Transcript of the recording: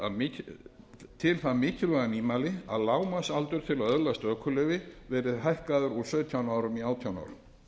er lagt til það mikilvæga nýmæli að lágmarksaldur til að öðlast ökuleyfi verði hækkaður úr sautján árum í átján